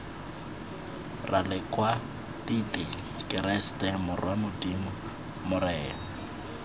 ralekwatiti keresete morwa modimo morena